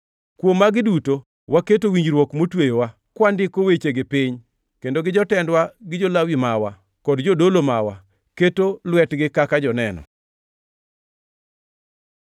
“Kuom magi duto, waketo winjruok motweyowa, kwandiko wechegi piny, kendo jotendwa, gi jo-Lawi mawa kod jodolo mawa keto lwetgi kaka joneno.”